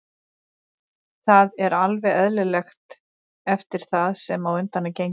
Það er alveg eðlilegt eftir það sem á undan er gengið.